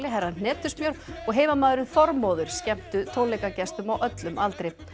herra hnetusmjör og heimamaðurinn Þormóður skemmtu tónleikagestum á öllum aldri